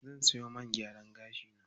Zan siyo man gyaran gashi na.